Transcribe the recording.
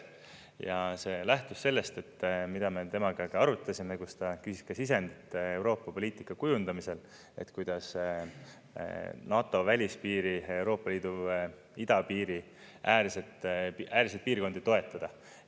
Ja see lähtus sellest, mida me temaga ka arutasime, kus ta küsis ka sisendit Euroopa poliitika kujundamisel, et kuidas NATO välispiiri, Euroopa Liidu idapiiri äärseid piirkondi toetada.